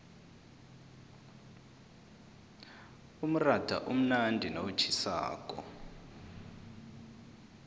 umratha umnandi nawutjhisako